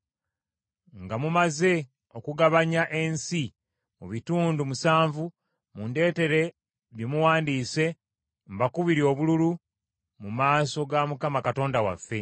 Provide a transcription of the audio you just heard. Nga mumaze okugabanya ensi mu bitundu musanvu mundeetere bye muwandiise mbakubire obululu mu maaso ga Mukama Katonda waffe.